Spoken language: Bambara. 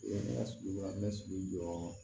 Ne ka sigiyɔrɔ bɛ sigi jɔɔ